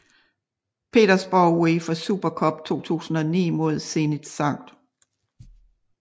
PetersborgUEFA Super Cup 2009 med Zenit Skt